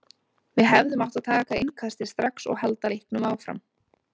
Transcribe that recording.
Við hefðum átt að taka innkastið strax og halda leiknum áfram.